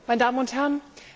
Meine Damen und Herren!